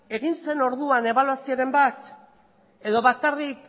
egi zen orduan ebaluazioren bat edo bakarrik